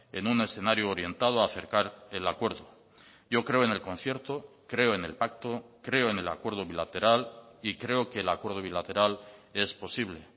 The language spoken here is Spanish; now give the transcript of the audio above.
en un escenario orientado a acercar el acuerdo yo creo en el concierto creo en el pacto creo en el acuerdo bilateral y creo que el acuerdo bilateral es posible